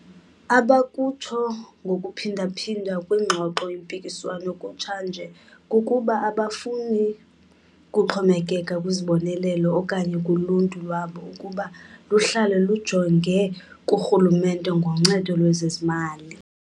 Abakutsho ngokuphinda phinda kwingxoxo-mpikiswano kutsha nje kukuba abafuni kuxhomekeka kwizibonelelo okanye kuluntu lwabo ukuba luhlale lujonge kurhulumente ngoncedo lwezezimali.